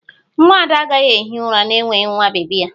Nwa Ada agaghị ehi ụra n'enweghị nwa bebi ya